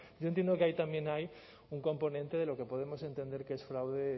yo entiendo que ahí también hay un componente de lo que podemos entender que es fraude